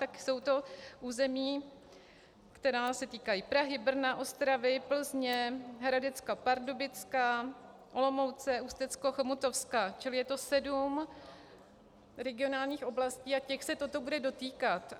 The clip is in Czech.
Tak jsou to území, která se týkají Prahy, Brna, Ostravy, Plzně, Hradecka-Pardubicka, Olomouce, Ústecko-Chomutovska, čili je to sedm regionálních oblastí a těch se toto bude dotýkat.